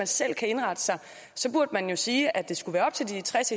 selv kan indrette sig så burde man jo sige at det skulle være op til de tres